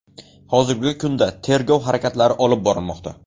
Hozirgi kunda tergov harakatlari olib borilmoqda.